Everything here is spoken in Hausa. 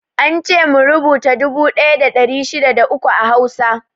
Ance mu rubuta dubu ɗaya da ɗari shida da uku a Hausa.